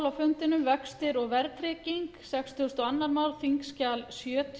eygló byrjar á næstu spólu frú forseti ég mæli hér